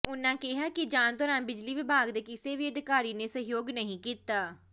ਉਨ੍ਹਾਂ ਕਿਹਾ ਕਿ ਜਾਂਚ ਦੌਰਾਨ ਬਿਜਲੀ ਵਿਭਾਗ ਦੇ ਕਿਸੇ ਵੀ ਅਧਿਕਾਰੀ ਨੇ ਸਹਿਯੋਗ ਨਹੀਂ ਕੀਤਾ